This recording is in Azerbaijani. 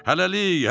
Hələlik, hələlik!